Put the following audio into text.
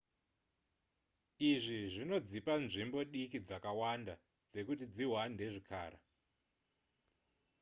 izvi zvinodzipa nzvimbo diki dzakawanda dzekuti dzihwande zvikara